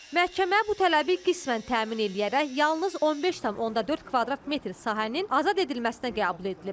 Məhkəmə bu tələbi qismən təmin eləyərək yalnız 15,4 kvadrat metr sahənin azad edilməsinə qəbul edilib.